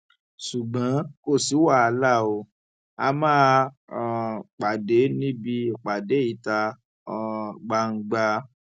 ṣùgbọn kò sí wàhálà ó a máa um pàdé níbi ìpàdé ìta um gbangba